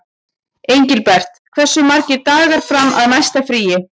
Engilbert, hversu margir dagar fram að næsta fríi?